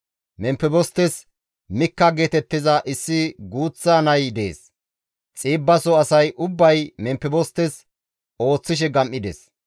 Memfebostes Mikka geetettiza issi guuththa nay dees; Xiibbaso asay ubbay Memfebostes ooththishe gam7ides.